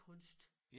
Kunst